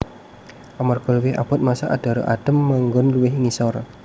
Amarga luwih abot massa adhara adhem manggon luwih ngisor